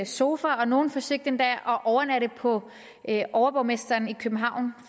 sofa og nogle forsøgte endda at overnatte på overborgmesteren i københavn